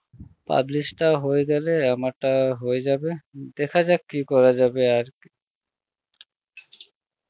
publish টা হয়ে গেলে আমারটা হয়ে যাবে, দেখা যাক কি করা যাবে আর